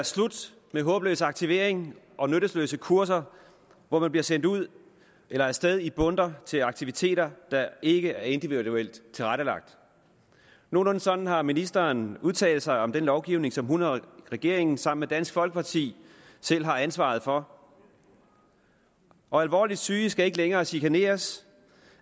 slut med håbløs aktivering og nytteløse kurser hvor man bliver sendt ud eller af sted i bundter til aktiviteter der ikke er individuelt tilrettelagt nogenlunde sådan har ministeren udtalt sig om den lovgivning som hun og regeringen sammen med dansk folkeparti selv har ansvaret for og alvorligt syge skal ikke længere chikaneres